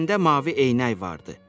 gözlərində mavi eynək vardı.